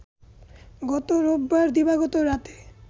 গত রোববার দিবাগত রাতে